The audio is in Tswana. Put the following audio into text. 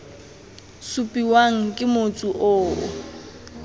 supiwang ke motsu o o